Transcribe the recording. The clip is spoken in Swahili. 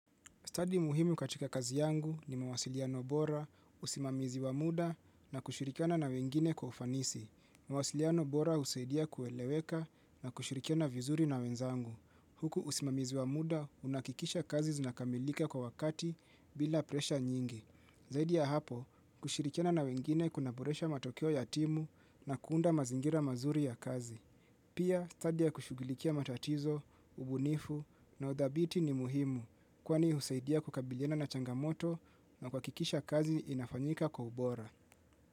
Taji muhimu katika kazi yangu ni mawasiliano bora, usimamizi wa muda na kushirikana na wengine kwa ufanisi. Mawasiliano bora husaidia kueleweka na kushirikiana vizuri na wenzangu. Huku usimamizi wa muda unahakikisha kazi zinakamilika kwa wakati bila presha nyingi. Zaidi ya hapo, kushirikiana na wengine kuna boresha matokeo ya timu na kuunda mazingira mazuri ya kazi. Pia, stadi ya kushughulikia matatizo, ubunifu na udhabiti ni muhimu kwani husaidia kukabiliana na changamoto na kuhakikisha kazi inafanyika kwa ubora.